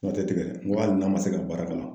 N ko a te tigɛ, n ko hali n'a ma se ka baara ka na.